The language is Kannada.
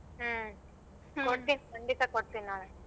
ಹ್ಮ ಕೊಡ್ತೀನಿ ಖಂಡಿತ ಕೊಡ್ತೀನಿ ನಾಳೆ.